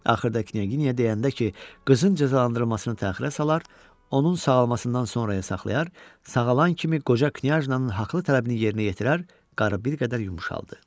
Axırda Knyaginya deyəndə ki, qızın cəzalandırılmasını təxirə salar, onun sağalmasından sonraya saxlayar, sağalan kimi qoca Knyajna'nın haqlı tələbini yerinə yetirər, qarı bir qədər yumşaldı.